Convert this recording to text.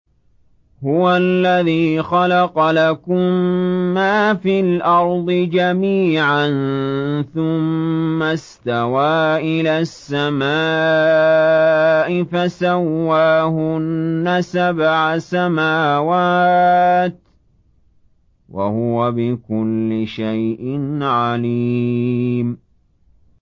هُوَ الَّذِي خَلَقَ لَكُم مَّا فِي الْأَرْضِ جَمِيعًا ثُمَّ اسْتَوَىٰ إِلَى السَّمَاءِ فَسَوَّاهُنَّ سَبْعَ سَمَاوَاتٍ ۚ وَهُوَ بِكُلِّ شَيْءٍ عَلِيمٌ